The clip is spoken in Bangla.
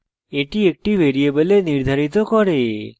এটি একটি ভ্যারিয়েবলে নির্ধারিত করে